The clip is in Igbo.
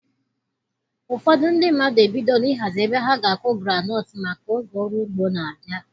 Ụfọdụ ndị mmadụ ebidola ihazi ebe ha ga-akụ Granot maka oge ọrụ ugbo na-abịa